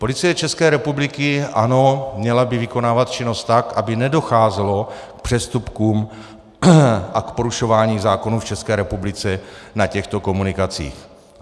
Policie České republiky, ano, měla by vykonávat činnost tak, aby nedocházelo k přestupkům a k porušování zákonů v České republice na těchto komunikacích.